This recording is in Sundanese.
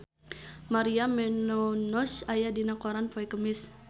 Maria Menounos aya dina koran poe Kemis